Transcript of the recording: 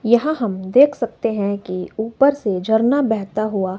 यहां हम देख सकते हैं कि ऊपर से झरना बहता हुआ--